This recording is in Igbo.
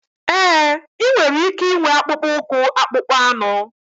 Ee, ị nwere ike ịnwe akpụkpọ ụkwụ akpụkpọ anụ.